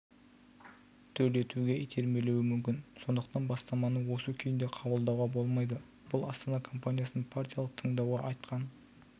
төлетуге итермелеуі мүмкін сондықтан бастаманы осы күйінде қабылдауға болмайды бұл астана компаниясының партиялық тыңдауда айтқан